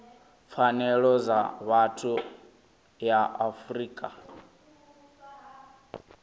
pfanelo dza vhathu ya afrika